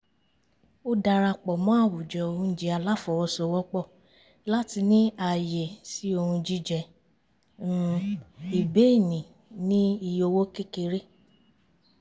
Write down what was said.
ó darapọ̀ mọ́ àwùjọ oúnjẹ aláfọwọ́sowọ́pọ̀ láti ní ààyè sí ohun jíjẹ́ um ìbéènì ní iye owó kékeré